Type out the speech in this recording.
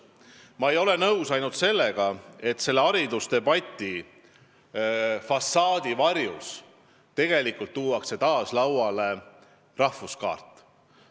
Ma ei ole aga nõus sellega, et haridusdebati fassaadi varjus tuuakse taas lauale rahvuskaart.